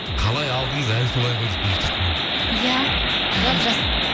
қалай алдыңыз әлі солай ғой дейді бейбіт ханым иә жап жас